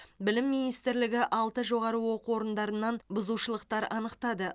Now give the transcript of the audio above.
білім министрлігі алты жоғары оқу орындарынан бұзушылықтар анықтады